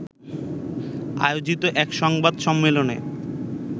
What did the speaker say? আয়োজিত এক সংবাদ সম্মেলনে